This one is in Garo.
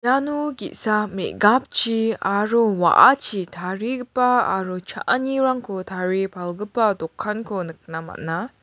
ano ge·sa me·gapchi aro wa·achi tarigipa aro cha·anirangko tarie palgipa dokanko nikna man·a.